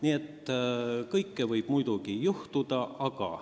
Nii et kõike võib juhtuda.